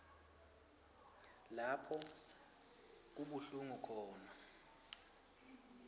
lapho kubuhlungu khona